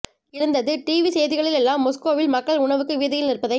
இருந்தது டிவி செய்திகளில் எல்லாம் மொஸ்கோவில் மக்கள் உணவுக்கு வீதியில் நிற்பதை